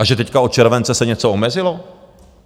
A že teď od července se něco omezilo?